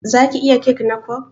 Zaki iya kek na kwaf?